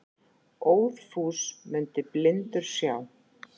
Óðfús mundi blindur sjá.